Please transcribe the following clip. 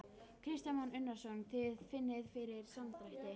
Kristján Már Unnarsson: Þið finnið fyrir samdrætti?